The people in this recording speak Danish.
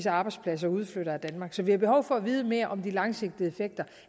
arbejdspladser udflytter af danmark så vi har behov for at vide mere om de langsigtede effekter